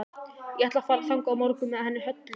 Ég ætla að fara þangað á morgun með henni Höllu.